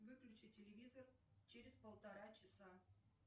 выключи телевизор через полтора часа